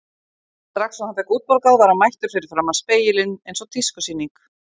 Strax og hann fékk útborgað var hann mættur fyrir framan spegilinn eins og tískusýning.